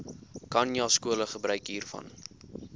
khanyaskole gebruik hiervan